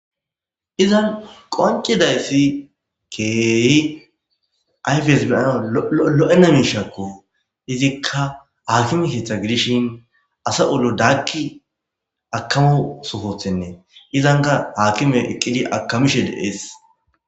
izan qoncidayssi keehi ayfees bilana lo7ena miishakko izikka haakime keeththa gidishin asa olo daagki akamo sofothennee izanka haakime iqqili akamishe de7ees